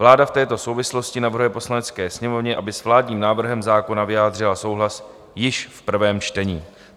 Vláda v této souvislosti navrhuje Poslanecké sněmovně, aby s vládním návrhem zákona vyjádřila souhlas již v prvém čtení.